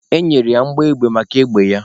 E nyere ya mbọ egbe maka egbe ya.